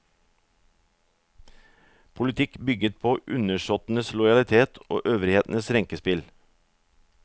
Politikk bygget på undersåttenes lojalitet og øvrighetens renkespill.